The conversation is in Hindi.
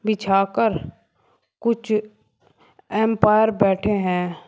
बिछा कर कुछ अंपायर बैठे हैं।